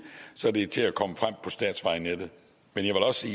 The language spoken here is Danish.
så det er til at komme frem på statsvejnettet men jeg vil også